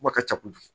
Ko ka ca kojugu